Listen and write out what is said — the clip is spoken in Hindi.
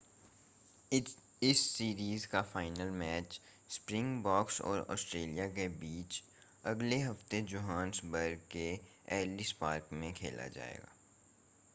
इस सीरीज़ का फ़ाइनल मैच स्प्रिंगबोक्स और ऑस्ट्रेलिया के बीच अगले हफ़्ते जोहान्सबर्ग के एलिस पार्क में खेला जाएगा